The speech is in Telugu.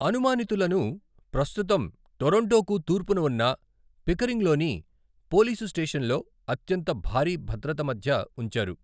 అనుమానితులను ప్రస్తుతం టొరంటోకు తూర్పున ఉన్న పికరింగ్లోని పోలీసు స్టేషన్లో అత్యంత భారీ భద్రత మధ్య ఉంచారు.